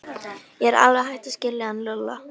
Ég er alveg hætt að skilja hann Lúlla.